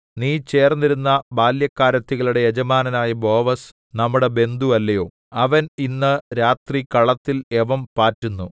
നീ ചേർന്നിരുന്ന ബാല്യക്കാരത്തികളുടെ യജമാനനായ ബോവസ് നമ്മുടെ ബന്ധു അല്ലയോ അവൻ ഇന്ന് രാത്രി കളത്തിൽ യവം പാറ്റുന്നു